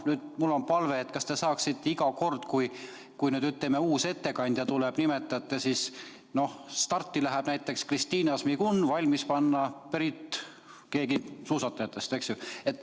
Nüüd on mul palve, et kas te saaksite iga kord, kui uuele küsijale sõna annate, nimetada, et starti läheb näiteks Kristina Šmigun ja end valmis panna sellel konkreetsel suusatajal.